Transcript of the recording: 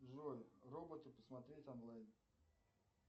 джой роботы посмотреть онлайн